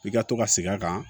I ka to ka segin a kan